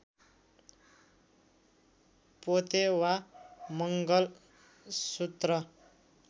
पोते वा मङ्गलसूत्र